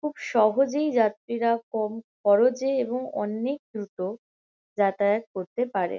খুব সহজেই যাত্রীরা কম খরচে এবং অনেক দ্রুত যাতায়াত করতে পারে।